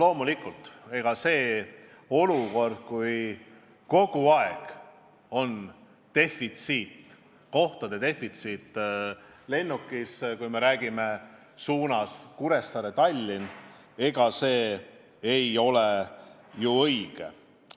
Loomulikult olukord, kui kogu aeg on kohtade defitsiit lennukis, kui me räägime suunast Kuressaare–Tallinn, ei ole normaalne.